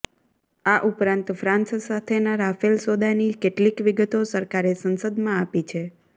આ ઉપરાંત ફ્રાન્સ સાથેના રાફેલ સોદાની કેટલીક વિગતો સરકારે સંસદમાં આપી છે